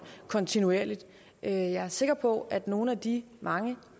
kontinuerligt jeg jeg er sikker på at nogle af de mange